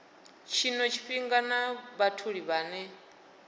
tshino tshifhinga na vhatholi vhane